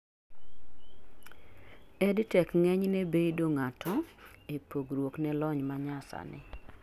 EdTech ng'eny ne bedo ng'ato e pogruok ne lony manyasani